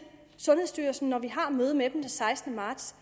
sundhedsstyrelsen om når vi har møde med dem den sekstende marts